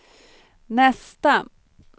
nästa